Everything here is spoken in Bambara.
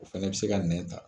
O fɛnɛ bɛ se ka nɛ ta.